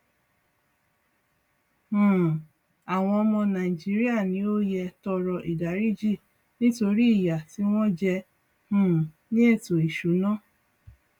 um àwọn ọmọ nàìjíríà ni ó yẹ tọrọ ìdáríjì nítorí ìyà tí wọn jẹ um ní ètò ìsúná